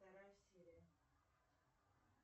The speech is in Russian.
вторая серия